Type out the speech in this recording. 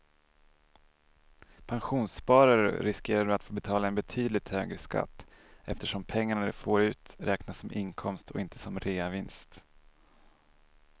Pensionssparar du riskerar du att få betala en betydligt högre skatt eftersom pengarna du får ut räknas som inkomst och inte som reavinst.